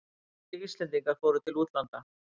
Fleiri Íslendingar fóru til útlanda